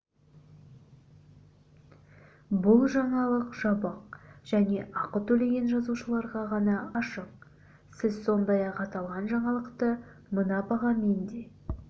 бұл жаңалық жабық және ақы төлеген жазылушыларға ғана ашық сіз сондай-ақ аталған жаңалықты мына бағамен де